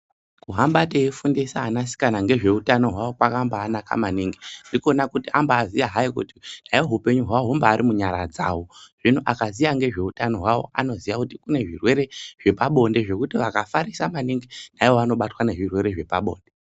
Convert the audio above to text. Kuhamba teifundisa anasikana ngezveutano hwavo kwakambanaka maningi. Ndikona kuti amba aziya kuti haikona hai hupenyu hwavo humbari munyara dzavo. Zvino akaziya ngezveutano hwavo anoziya kuti kune zvirwere zvepabonde zvekuti vakafarisa maningi vanobatwa nezvirwere zvepabonde.